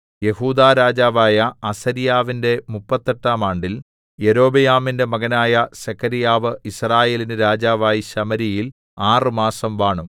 യെഹൂദാ രാജാവായ അസര്യാവിന്റെ മുപ്പത്തെട്ടാം ആണ്ടിൽ യൊരോബെയാമിന്റെ മകനായ സെഖര്യാവ് യിസ്രായേലിന് രാജാവായി ശമര്യയിൽ ആറ് മാസം വാണു